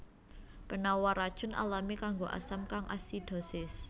Penawar racun alami kanggo asam kang asidosis